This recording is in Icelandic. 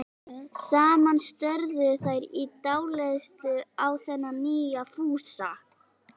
Saman störðu þær í dáleiðslu á þennan nýja Fúsa.